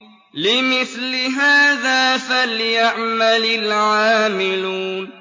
لِمِثْلِ هَٰذَا فَلْيَعْمَلِ الْعَامِلُونَ